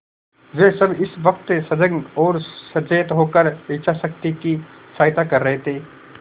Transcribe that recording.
वे सब इस वक्त सजग और सचेत होकर इच्छाशक्ति की सहायता कर रहे थे